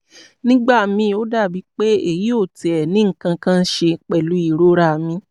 nígbà míì ó dàbíi pé èyí ò tiẹ̀ ní nǹkan kan ṣe pẹ̀lú ìrora mi